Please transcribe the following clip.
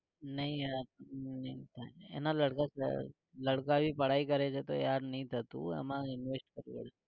નહિ યાર નહિ એનો लड़का लड़का भी पढाई કરે છે તો યાર નહિ થતું હો એમાં invest થતું હોય છે